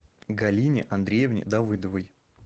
галине андреевне давыдовой